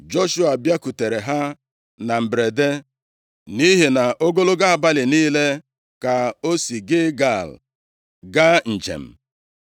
Joshua bịakwutere ha na mberede, nʼihi na ogologo abalị niile ka o si Gilgal gaa njem.